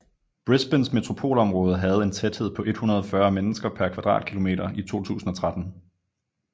Brisbanes metropolområde havde en tæthed på 140 mennesker per kvadratkilometer i 2013